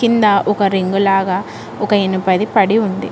కింద ఒక రింగ్ లాగా ఒక ఇనుపది పడి ఉంది.